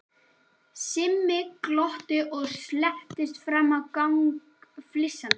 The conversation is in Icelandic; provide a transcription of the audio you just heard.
Simmi glotti og slettist fram á gang flissandi.